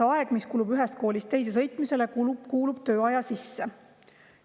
Kas aeg, mis kulub ühest koolist teise sõitmisele, kuulub tööaja sisse?